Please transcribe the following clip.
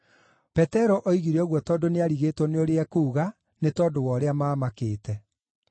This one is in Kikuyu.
(Petero oigire ũguo tondũ nĩarigĩtwo nĩ ũrĩa ekuuga, nĩ tondũ wa ũrĩa maamakĩte.)